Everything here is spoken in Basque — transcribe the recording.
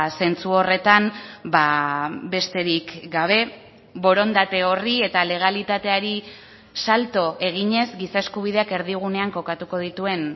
zentzu horretan besterik gabe borondate horri eta legalitateari salto eginez giza eskubideak erdigunean kokatuko dituen